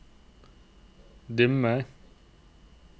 dimmer